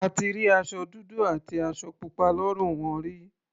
A ti rí aṣọ dúdú àti aṣọ pupa lọ́rùn wọn rí.